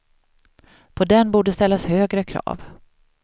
På den borde ställas högre krav.